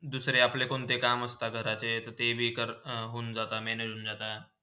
दुसरे आपले कोण्ते काम असता जरा ते ते भी कर होन जाता manage होन जाता.